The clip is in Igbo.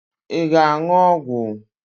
Ị ga-aṅụ ọgwụ?